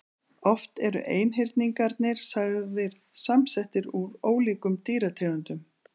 Oft eru einhyrningarnir sagðir samsettir úr ólíkum dýrategundum.